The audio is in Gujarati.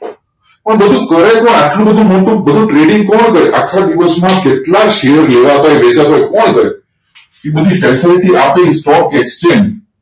પણ બધું કરે કોણ આટલું બધું trading કોણ કરે આખા દિવસ માં કેટલાક શેર લેવાતા હોય વેચતા હોય કોણ કરે એ બધી facility આપે stock exchange